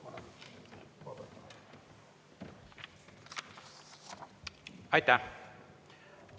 Aitäh!